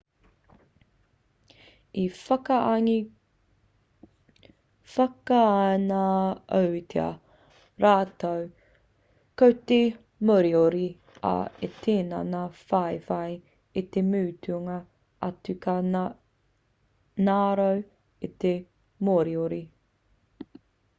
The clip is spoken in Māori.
i whakaingoatia rātou ko te moriori ā i tini ngā whawhai i te mutunga atu ka ngaro te moriori